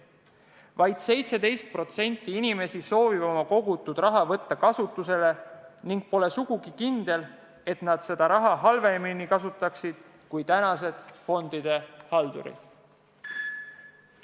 Vaid 17% inimesi soovib oma kogutud raha kasutusele võtta ning pole sugugi kindel, et nad seda raha halvemini kasutaksid kui tänased fondide haldurid.